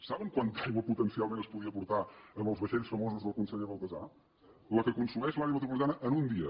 saben quanta aigua potencialment es podia portar amb els vaixells famosos del conseller baltasar la que consumeix l’àrea metropolitana en un dia